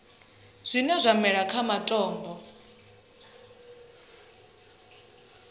zwine zwa mela kha matombo